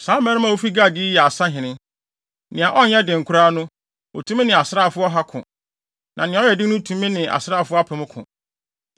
Saa dɔmmarima a wofi Gad yi yɛ asahene. Nea ɔnyɛ den koraa no, otumi ne asraafo ɔha ko, na nea ɔyɛ den no tumi ne asraafo apem ko.